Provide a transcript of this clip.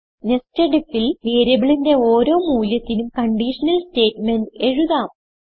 Nested ifൽ വേരിയബിളിന്റെ ഓരോ മൂല്യത്തിനും കൺഡിഷനൽ സ്റ്റേറ്റ് മെന്റ് എഴുതാം